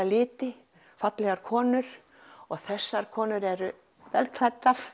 liti fallegar konur og þessar konur eru vel klæddar